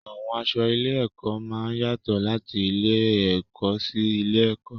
Àwọn aṣọ ilé-ẹ̀kọ́ máa ń yàtọ̀ láti ilé-ẹ̀kọ́ sí ilé-ẹ̀kọ́.